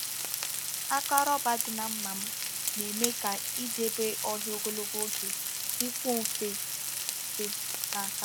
Aka roba dị na mma m na-eme ka idebe ọhịa ogologo oge dịkwuo mfe mfe n’aka m.